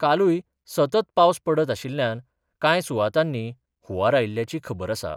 कालूय सतत पावस पडत आशिल्ल्यान कांय सुवातांनी हुंवार आयिल्ल्याची खबर आसा.